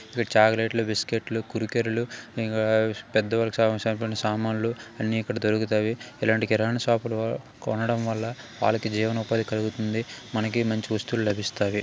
ఇక్కడ చాక్లెట్ ట్లు బిస్కెట్ ట్లు కుర్కురే లు ఇంకా పెద్ద వాళ్లకు కావాల్సినటువంటి సామాన్లు అన్ని ఎక్కడ దొరుకుతావి ఇలాంటి కిరాణా షాప్ లో కొనడం వల్ల వాళ్లకి జీవన ఉపాధి కలుగుతుంది మనకి మంచి వస్తువు లభిస్తాయి.